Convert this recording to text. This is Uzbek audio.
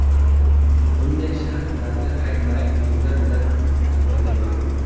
Bunday sharflarni rang-barang kiyimlar bilan taqmagan ma’qul.